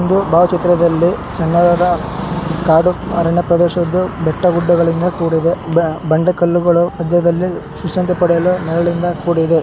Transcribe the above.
ಈ ಒಂದು ಬಾವಚಿತ್ರದಲ್ಲಿ ಸಣ್ಣದಾದ ಕಾಡು ಅರಣ್ಯ ಪ್ರದೇಶವಿದ್ದು ಬೆಟ್ಟ ಗುಡ್ಡಗಳಿಂದ ಕೂಡಿದೆ. ಬಂಡೆಕಲ್ಲುಗಳು ಮದ್ಯದಲ್ಲಿ ವಿಶ್ರಾಂತಿ ಪಡೆಯಲು ನೆರಳಿನಿಂದ ಕೂಡಿದೆ.